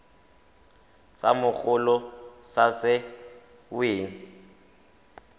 sa mogolo sa se weng